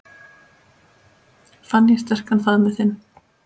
Fann ég sterkan faðminn þinn.